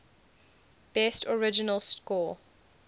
best original score